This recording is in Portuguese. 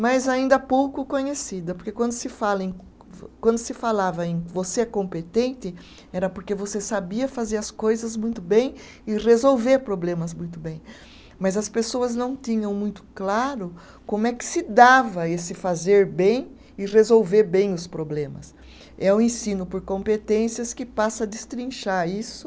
Mas ainda pouco conhecida porque quando se fala em quando se falava em você é competente era porque você sabia fazer as coisas muito bem e resolver problemas muito bem, mas as pessoas não tinham muito claro como é que se dava esse fazer bem e resolver bem os problemas é o ensino por competências que passa a destrinchar isso